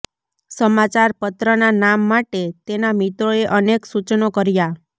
સમાચાર પત્રના નામ માટે તેનાં મિત્રોએ અનેક સૂચનો કર્યાં